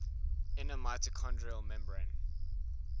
inner mitochondrial membrane